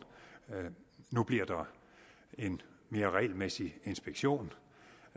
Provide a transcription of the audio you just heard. nu bliver der en mere regelmæssig inspektion